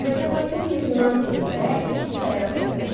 Mesopotomiya yunan dilində iki çay arası deməkdir.